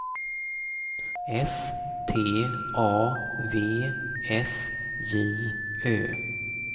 S T A V S J Ö